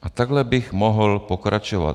A takto bych mohl pokračovat.